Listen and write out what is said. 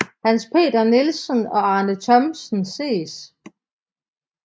Hans Peter Nielsen og Arne Thomsen ses